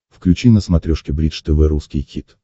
включи на смотрешке бридж тв русский хит